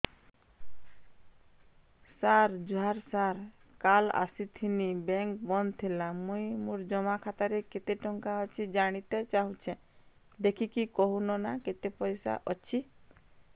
ସାର ଜୁହାର ସାର କାଲ ଆସିଥିନି ବେଙ୍କ ବନ୍ଦ ଥିଲା ମୁଇଁ ମୋର ଜମା ଖାତାରେ କେତେ ଟଙ୍କା ଅଛି ଜାଣତେ ଚାହୁଁଛେ ଦେଖିକି କହୁନ ନା କେତ ପଇସା ଅଛି